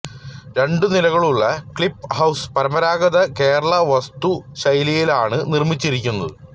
രണ്ടു നിലകളുള്ള Cliff House പരമ്പരാഗത കേരള വാസ്തുശൈലിയിലാണ് നിർമിച്ചിരിക്കുന്നത്